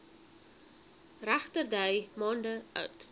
regterdy maande oud